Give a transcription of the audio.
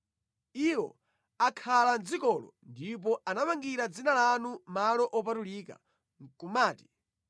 Iwo akhala mʼdzikolo ndipo anamangira Dzina lanu malo opatulika, nʼkumati,